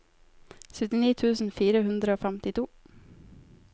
syttini tusen fire hundre og femtito